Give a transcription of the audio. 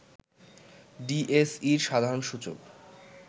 ডিএসইর সাধারণ সূচক